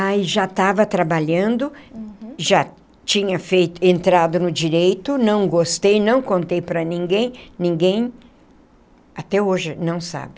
Aí já estava trabalhando, já tinha feito, entrado no direito, não gostei, não contei para ninguém, ninguém até hoje não sabe.